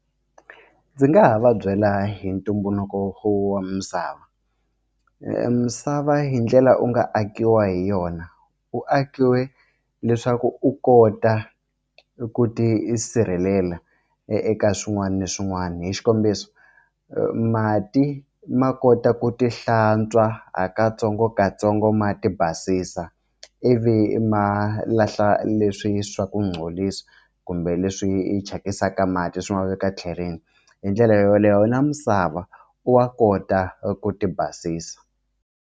Ndzi nga ha va byela hi ntumbuluko wa misava misava hi ndlela u nga akiwa hi yona u akiwe leswaku u kota i ku ti sirhelela eka swin'wana na swin'wana hi xikombiso mati ma kota ku ti hlantswa ha katsongokatsongo ma ti basisa i vi ma lahla leswi swa ku kumbe leswi thyakisaka mati swi ma veka tlhelweni hi ndlela yoleyo na misava u wa kota ku ti basisa.